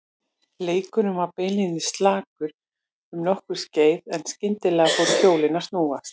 Leikurinn var beinlínis slakur um nokkurt skeið en skyndilega fóru hjólin að snúast.